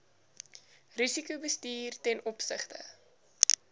risikobestuur ten opsigte